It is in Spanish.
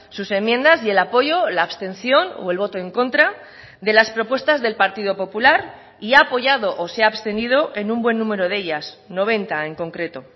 sus enmiendas y el apoyo la abstención o el voto en contra de las propuestas del partido popular y ha apoyado o se ha abstenido en un buen número de ellas noventa en concreto